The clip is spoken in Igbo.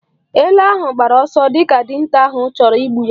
Ele ahụ gbara ọsọ dịka dinta ahụ chọrọ igbu ya.